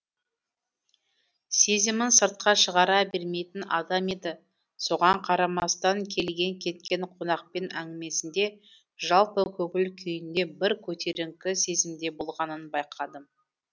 сезімін сыртқа шығара бермейтін адам еді соған қарамастан келген кеткен қонақпен әңгімесінде жалпы көңіл күйінде бір көтеріңкі сезімде болғанын байқадым